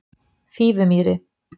Fífumýri